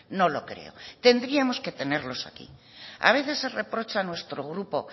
no lo creo tendríamos que tenerlos aquí a veces se reprocha a nuestro grupo